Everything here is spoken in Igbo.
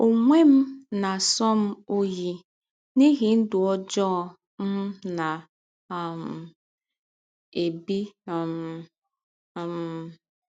Ọnwe m na - asọ m ọyi n’ihi ndụ ọjọọ m na um - ebi um. um